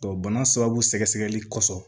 bana sababu sɛgɛsɛgɛli kɔfɛ